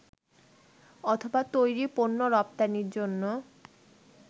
অথবা তৈরি পণ্য রপ্তানির জন্য